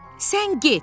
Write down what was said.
Sən get!